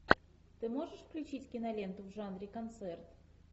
ты можешь включить киноленту в жанре концерт